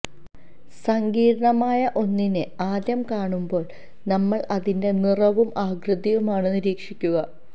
സങ്കീര്ണമായ ഒന്നിനെ ആദ്യം കാണുമ്പോള് നമ്മള് അതിന്റെ നിറവും ആകൃതിയുമാണ് നിരീക്ഷിക്കുക